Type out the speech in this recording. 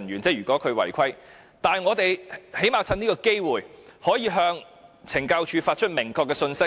但我們最低限度可以藉此機會，向懲教署發出明確的信息，